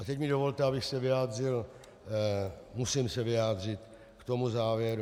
A teď mi dovolte, abych se vyjádřil - musím se vyjádřit - k tomu závěru.